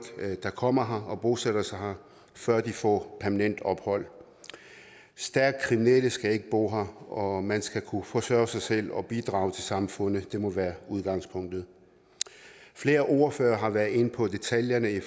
der kommer og bosætter sig her før de får permanent ophold stærkt kriminelle skal ikke bo her og man skal kunne forsørge sig selv og bidrage til samfundet det må være udgangspunktet flere ordførere har været inde på detaljerne i